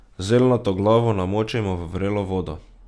Zeljnato glavo namočimo v vrelo vodo.